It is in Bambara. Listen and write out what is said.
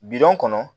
Bidon kɔnɔ